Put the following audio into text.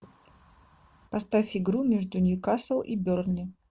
поставь игру между ньюкасл и бернли